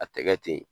A tɛ kɛ ten